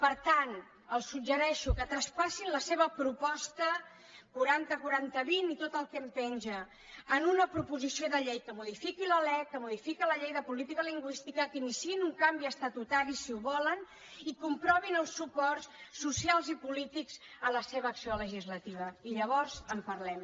per tant els suggereixo que traspassin la seva proposta quaranta quaranta vint i tot el que en penja en una proposició de llei que modifiqui la lec que modifiqui la llei de política lingüística que iniciïn un canvi estatutari si ho volen i comprovin els suports socials i polítics a la seva acció legislativa i llavors en parlem